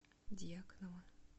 дьяконова